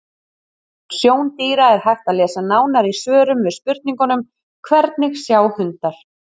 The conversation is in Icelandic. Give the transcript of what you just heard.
Um sjón dýra er hægt að lesa nánar í svörum við spurningunum: Hvernig sjá hundar?